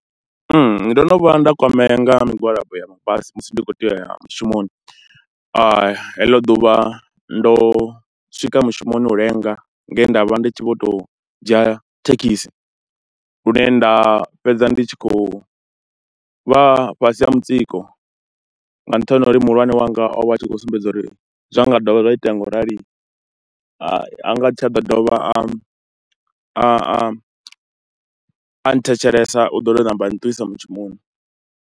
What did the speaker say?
Ndo no vhuya nda kwamea nga migwalabo ya mabasi musi ndi khou tea u ya mushumoni, heḽo ḓuvha ndo swika mushumoni u lenga nge nda vha ndi tshi vho tou dzhia thekhisi lune nda fhedza ndi tshi khou vha fhasi ha mutsiko nga nṱhani ha uri muhulwane wanga o vha a tshi khou sumbedza uri zwa nga dovha zwa itea ngaurali a nga si tsha ḓo dovha a a a thetshelesa u ḓo tou namba a nṱuwisa mushumoni.